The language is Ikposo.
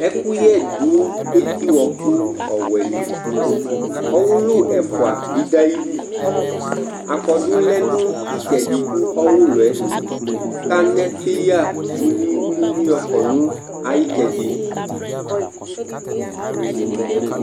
ɛkʋyɛ dʋ ɛti ɔkʋ ɔwɛ dili, ɔwʋlʋ ɛƒʋa bi dʋ ayili ,akɔdʋlɛnʋitsɛdi kʋ ɔwʋlʋɛ kʋ anɛ paya wliwliwli yɔkɔnʋ ayi itsɛdi